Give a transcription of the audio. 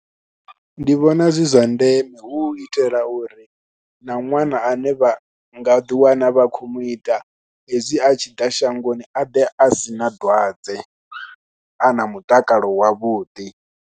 Ndi vhona zwi zwa ndeme hu itela uri na ṅwana ane vha nga ḓiwana vha khou ita, hezwi a tshi ḓa shangoni a ḓe a si na dwadze, a na mutakalo wavhuḓi.